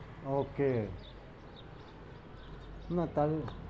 Okay না তাই,